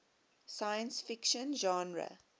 science fiction genre